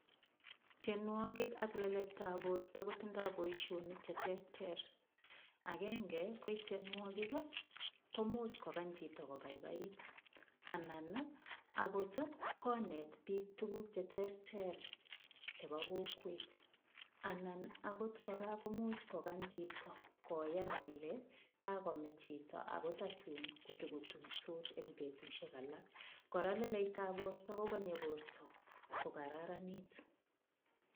Tiyenwokik ak lelestab borto kotindoi boishonik cheterter agenge ko ityenwokik komuuch kokany chito kobaibait anan akot konet biik tukuk cheterter chebo kokwet anan akot kora komuuch kokany chito koyan kole kakome chito ako tatun kotokotuisot eng' betushiek alak kora lelestab borto kokonyei borto kokararanit